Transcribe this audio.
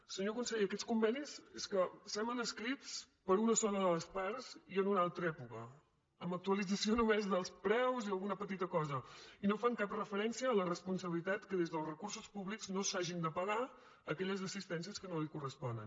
senyor conseller aquests convenis és que semblen escrits per una sola de les parts i en una altra època amb actualització només dels preus i alguna petita cosa i no fan cap referència a la responsabilitat que des dels recursos públics no s’hagin de pagar aquelles assistències que no li corresponen